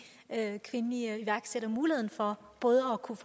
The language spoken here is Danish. andet kvindelige iværksættere mulighed for både at kunne